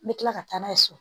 N bɛ tila ka taa n'a ye so